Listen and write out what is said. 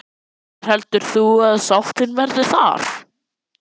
Hver heldur þú að sáttin verði þar?